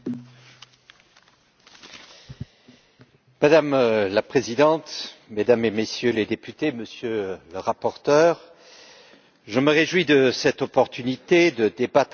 Madame la Présidente, Mesdames et Messieurs les députés, Monsieur le rapporteur, je me réjouis de cette opportunité de débattre avec vous du Semestre européen.